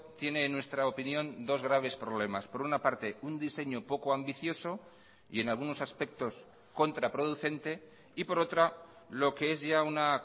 tiene en nuestra opinión dos graves problemas por una parte un diseño poco ambicioso y en algunos aspectos contraproducente y por otra lo que es ya una